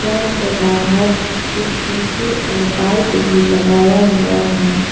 घर के बाहर इस्कूटी और बाइक भी लगाया हुआ है।